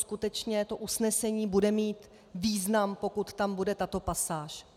Skutečně to usnesení bude mít význam, pokud tam bude tato pasáž.